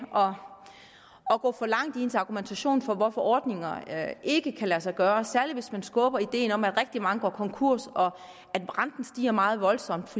at gå for langt i ens argumentation for hvorfor ordninger ikke kan lade sig gøre særlig hvis man skubber til ideen om at rigtig mange går konkurs og at renten vil stige meget voldsomt